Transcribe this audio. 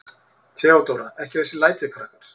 THEODÓRA: Ekki þessi læti, krakkar.